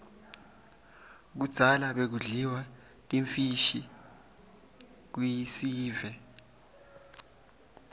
kudzala bekudliwa timfishi kuiesive